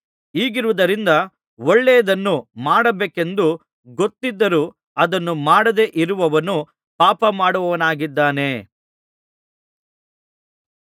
ಹೀಗಿರುವುದರಿಂದ ಒಳ್ಳೆಯದನ್ನು ಮಾಡಬೇಕೆಂದು ಗೊತ್ತಿದರೂ ಅದನ್ನು ಮಾಡದೆ ಇರುವವನು ಪಾಪ ಮಾಡುವವನಾಗಿದ್ದಾನೆ